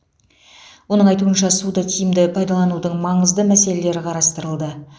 оның айтуынша суды тиімді пайдаланудың маңызды мәселелері қарастырылды